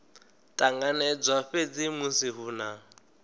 ṱanganedzwa fhedzi musi hu na